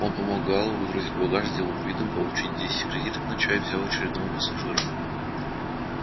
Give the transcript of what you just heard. он помог гаалу выгрузить багаж с деловым видом получил десять кредиток на чай взял очередного пассажира